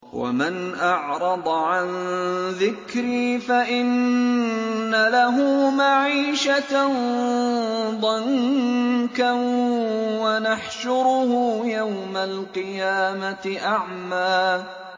وَمَنْ أَعْرَضَ عَن ذِكْرِي فَإِنَّ لَهُ مَعِيشَةً ضَنكًا وَنَحْشُرُهُ يَوْمَ الْقِيَامَةِ أَعْمَىٰ